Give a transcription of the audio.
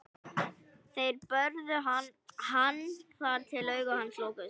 Þeir börðu hann þar til augu hans lokuðust.